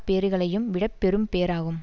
பேறுகளையும் விட பெரும் பேறாகும்